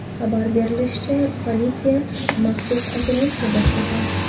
Xabar berishlaricha, politsiya maxsus operatsiya boshlagan.